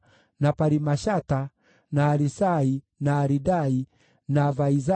na Parimashata, na Arisai, na Aridai, na Vaizatha,